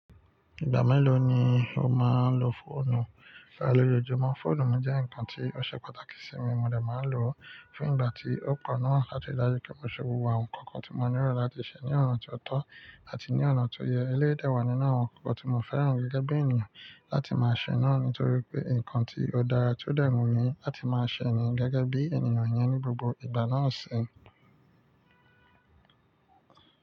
Ìgbà mélòó ni o máa ń lo fóònù? Lálojoojúmọ́ fóònù mi jẹ́ ǹkan tí ó ṣe pàtàkì sí mi, mo dà máa lò ó fún ìgbà tí ó kọ náà àti ìdájú kí mo ṣe gbogbo àwọn ǹkan kan tí mo ní rọ̀ láti ṣe ní ọ̀nà tí ó tọ́ àti ní ọ̀nà tó yẹ. Eléèdè wà nínú àwọn ǹkan kan tí mo fẹ́ràn gẹ́gẹ́ bí ènìyàn láti máa ṣe náà ni, torí pé ǹkan tí ó dára tí ó dẹ́ wun mi láti máa ṣe ní gẹ́gẹ́ bí ènìyàn yẹn ni gbogbo ìgbà náà ṣe.